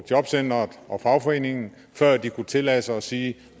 jobcenteret og fagforeningen før de kunne tillade sig at sige at